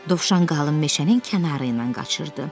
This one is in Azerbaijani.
Dovşan qalın meşənin kənarı ilə qaçırdı.